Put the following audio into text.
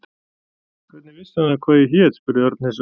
Hvernig vissi hann hvað ég hét? spurði Örn hissa.